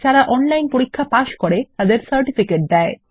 যারা অনলাইন পরীক্ষা পাস করে তাদের সার্টিফিকেট দেয়